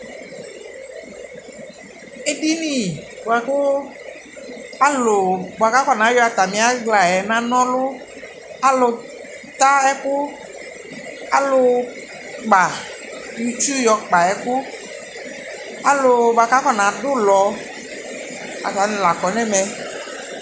Edini yɛ bʋakʋ alʋ akɔnayɔ atamɩ aɣla nana ɔlʋ alʋ ta ɛkʋ, alʋ kpa itsu yɔkpa ɛkʋ alʋ bʋakʋ akɔnadʋ ʋlɔ atanɩ la kɔ nʋ ɛmɛ